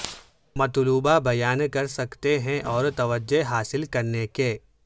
مطلوبہ بیان کر سکتے ہیں اور توجہ حاصل کرنے کے